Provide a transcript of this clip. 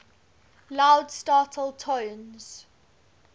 loud startle tones